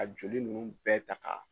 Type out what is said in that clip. Ka joli ninnu bɛɛ ta ka